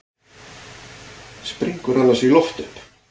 Springur annars í loft upp.